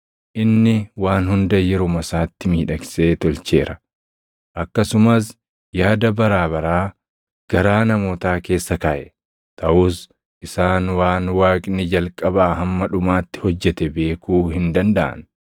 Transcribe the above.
Inni waan hunda yeruma isaatti miidhagsee tolcheera. Akkasumas yaada baraa baraa garaa namootaa keessa kaaʼe. Taʼus isaan waan Waaqni jalqabaa hamma dhumaatti hojjete beekuu hin dandaʼan.